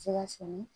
Se ka sɛnɛ